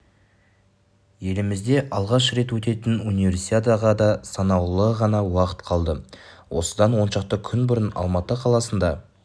елімізде алғаш рет өтетін универсиадаға да санаулы ғана уақыт қалды осыдан оншақты күн бұрын алматы қаласында